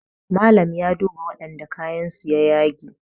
Malam ya duba wadanda kayansu ya yage